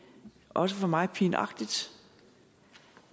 også for mig pinagtigt